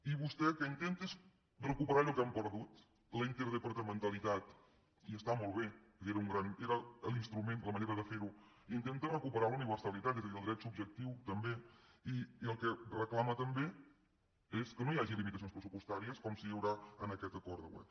i vostè el que intenta és recuperar allò que hem perdut la interdepartamentalitat i està molt bé perquè era l’instrument la manera de fer ho intenta recuperar la universalitat és a dir el dret subjectiu també i el que reclama també és que no hi hagi limitacions pressupostàries com sí que n’hi haurà en aquest acord de govern